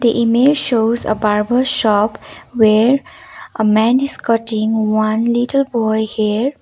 image shows a barber shop where a man is cutting one little boy hair.